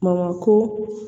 ko